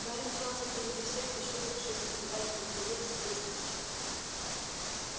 гарри мчался впереди всех прищурившись и пытаясь разглядеть в себе снитч